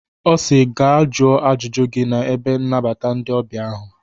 Ọ si "Gaa jụọ ajụjụ gị na ebe nnabata ndị ọbịa ahụ.